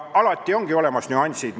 Alati on olemas nüansid.